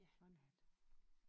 Ja og en hat